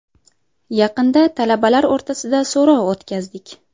Yaqinda talabalar o‘rtasida so‘rov o‘tkazdik.